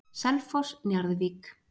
Selfoss- Njarðvík